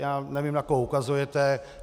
Já nevím, na koho ukazujete.